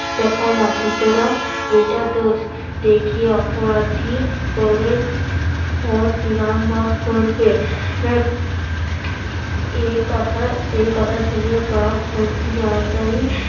দেখায় না সুতরাং এটা দোষ দেখিয়া অপরাধী করে ওর পিরান বস করবে এ কথা এ কথা ভেবে বাঘ ভর্তি তাড়াতড়ি